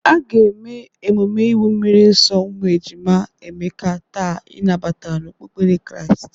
A ga-eme emume iwu mmiri nso ụmụ e jima Emeka taa ịnabata n'okpukpere Kraịst.